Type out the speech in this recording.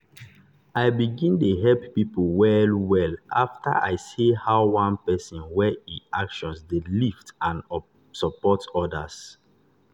i begin dey help people well-well after i see how one person wey e actions dey lift n support others.